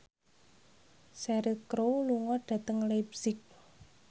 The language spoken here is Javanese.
Cheryl Crow lunga dhateng leipzig